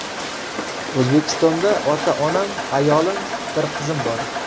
O‘zbekistonda ota-onam, ayolim, bir qizim bor.